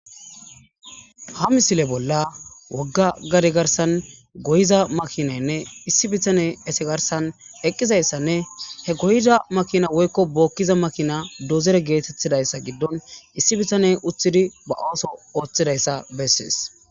Ha misile bollan woga gade garsan goyiza makinayinne issi bittane garsan eqidaysanne he goyiza makina woykon bokiza makinay dozore getetizaysa gidon issi bitane uttidi ba oso othizaysa beses